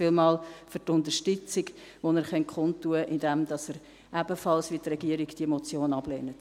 Vielen Dank für die Unterstützung, die Sie kundtun können, indem Sie die Motion ebenfalls, wie die Regierung, ablehnen.